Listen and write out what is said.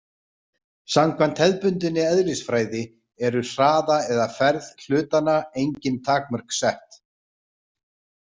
Samkvæmt hefðbundinni eðlisfræði eru hraða eða ferð hlutanna engin takmörk sett.